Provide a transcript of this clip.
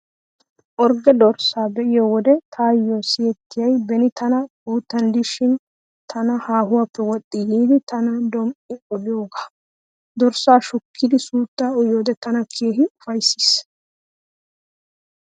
Orgge dorssaa be'iyo wode taayyo siyettiyay beni taani guuttan diishin tana haahuwaappe woxxi yiiddi tana dom"I oloogaa. Dorssaa shukkidi suuttaa uyiyode tana keehi ufayssees.